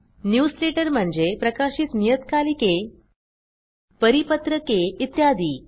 newsletter म्हणजे प्रकाशित नियतकालिके परिपत्रके इत्यादी